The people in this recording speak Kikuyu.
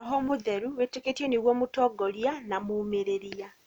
Roho Mũtheru wĩtĩkĩtio nĩguo mũtongoria na mũmĩrĩria.